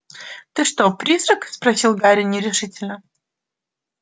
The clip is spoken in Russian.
ты что призрак спросил гарри нерешительно